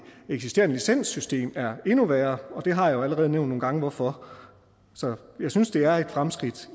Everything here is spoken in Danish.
eksisterende licenssystem er endnu værre og jeg har jo allerede nævnt nogle gange hvorfor så jeg synes det er et fremskridt